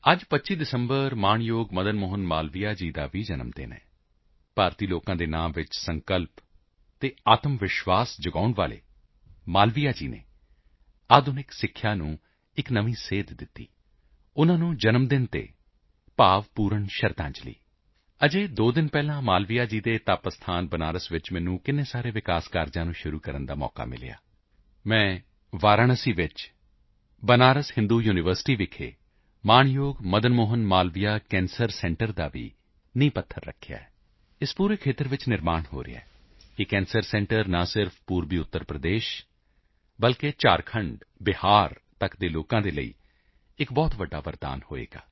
ਅੱਜ 25 ਦਸੰਬਰ ਮਹਾਮਨਾ ਮਦਨ ਮੋਹਨ ਮਾਲਵੀਆ ਜੀ ਦੀ ਵੀ ਜਯੰਤੀ ਹੈ ਭਾਰਤੀ ਜਨਤਾ ਦੇ ਮਨਾਂ ਵਿੱਚ ਸੰਕਲਪ ਅਤੇ ਆਤਮਵਿਸ਼ਵਾਸ ਜਗਾਉਣ ਵਾਲੇ ਮਾਲਵੀਆ ਜੀ ਨੇ ਆਧੁਨਿਕ ਸਿੱਖਿਆ ਨੂੰ ਇੱਕ ਨਵੀਂ ਦਿਸ਼ਾ ਦਿੱਤੀ ਉਨ੍ਹਾਂ ਦੀ ਜਯੰਤੀ ਉੱਤੇ ਭਾਵਪੂਰਤ ਸ਼ਰਧਾਂਜਲੀ ਹਾਲੇ ਦੋ ਦਿਨ ਪਹਿਲਾਂ ਮਾਲਵੀਆ ਜੀ ਦੀ ਤਪੋਭੂਮੀ ਬਨਾਰਸ ਚ ਮੈਨੂੰ ਕਈ ਸਾਰੇ ਵਿਕਾਸ ਕਾਰਜਾਂ ਦਾ ਸ਼ੁਭਅਰੰਭ ਕਰਨ ਦਾ ਮੌਕਾ ਮਿਲਿਆ ਮੈਂ ਵਾਰਾਣਸੀ ਚ ਭੂ ਚ ਮਹਾਮਨਾ ਮਦਨ ਮੋਹਨ ਮਾਲਵੀਆ ਕੈਂਸਰ ਸੈਂਟਰ ਦਾ ਵੀ ਨੀਂਹ ਪੱਥਰ ਰੱਖਿਆ ਹੈ ਇਸ ਸਮੁੱਚੇ ਖੇਤਰ ਵਿੱਚ ਨਿਰਮਾਣ ਹੋ ਰਿਹਾ ਹੈ ਇਹ ਕੈਂਸਰ ਸੈਂਟਰ ਨਾ ਕੇਵਲ ਪੂਰਬੀ ਉੱਤਰ ਪ੍ਰਦੇਸ਼ ਸਗੋਂ ਝਾਰਖੰਡਬਿਹਾਰ ਤੱਕ ਦੇ ਲੋਕਾਂ ਲਈ ਵੀ ਇੱਕ ਬਹੁਤ ਵੱਡਾ ਵਰਦਾਨ ਹੋਵੇਗਾ